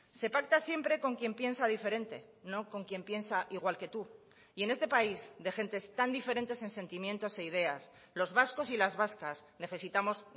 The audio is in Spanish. se pacta siempre con quien piensa diferente no con quien piensa igual que tú y en este país de gentes tan diferentes en sentimientos e ideas los vascos y las vascas necesitamos